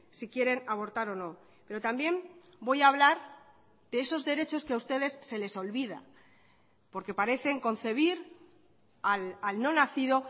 si quieren abortar o no pero también voy a hablar de esos derechos que a ustedes se les olvida porque parecen concebir al no nacido